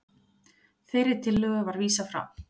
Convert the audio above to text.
Þeirri tillögu var vísað frá